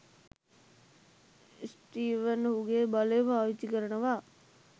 Steven ඔහුගේ බලය පාවිච්චි කරනවා